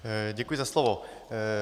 Děkuji za slovo.